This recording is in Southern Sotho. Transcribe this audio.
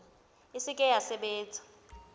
e se ke ya sebetsa